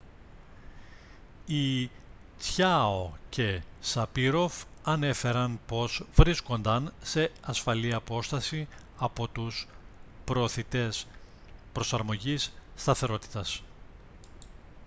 οι τσιάο και σαπίροφ ανέφεραν πως βρίσκονταν σε ασφαλή απόσταση από τους προωθητές προσαρμογής σταθερότητας